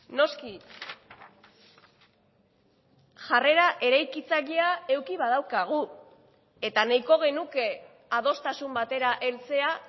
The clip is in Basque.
noski jarrera eraikitzailea eduki badaukagu eta nahiko genuke adostasun batera heltzea